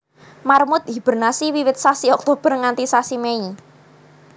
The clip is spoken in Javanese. Marmut hibernasi wiwit sasi Oktober nganti sasi Mei